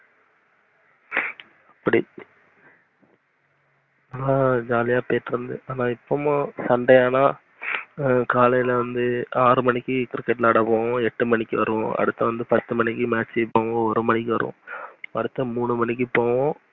ஆஹ் jolly ஆஹ் போயிட்டு இருந்துச்சு இப்பவும் உம் sunday ஆனா காலைல வந்து ஆறு மணிக்கு cricket விளையாடபோவோம். எட்டு மணிக்கு வருவோம் அடுத்து பத்து மணிக்கு match போவோம் ஒரு மணிக்கு வருவோம், அடுத்து மூணு மணிக்கு போவோம்.